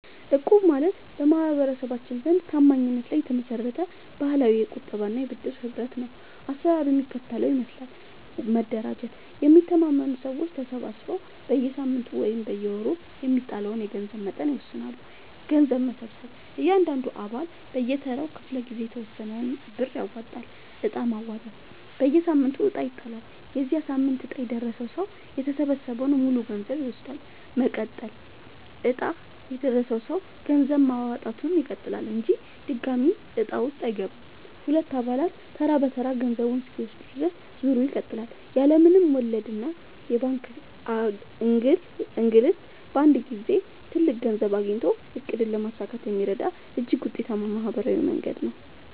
እቁብ ማለት በማህበረሰባችን ዘንድ ታማኝነት ላይ የተመሰረተ ባህላዊ የቁጠባና የብድር ህብረት ነው። አሰራሩ የሚከተለውን ይመስላል፦ መደራጀት፦ የሚተማመኑ ሰዎች ተሰባስበው በየሳምንቱ ወይም በየወሩ የሚጣለውን የገንዘብ መጠን ይወስናሉ። ገንዘብ መሰብሰብ፦ እያንዳንዱ አባል በየተራው ክፍለ-ጊዜ የተወሰነውን ብር ያዋጣል። ዕጣ ማውጣት፦ በየሳምንቱ ዕጣ ይጣላል። የዚያ ሳምንት ዕጣ የደረሰው ሰው የተሰበሰበውን ሙሉ ገንዘብ ይወስዳል። መቀጠል፦ ዕጣ የደረሰው ሰው ገንዘብ ማዋጣቱን ይቀጥላል እንጂ ድጋሚ ዕጣ ውስጥ አይገባም። ሁሉም አባላት ተራ በተራ ገንዘቡን እስኪወስዱ ድረስ ዙሩ ይቀጥላል። ያለ ምንም ወለድና የባንክ እንግልት በአንድ ጊዜ ትልቅ ገንዘብ አግኝቶ ዕቅድን ለማሳካት የሚረዳ እጅግ ውጤታማ ማህበራዊ መንገድ ነው።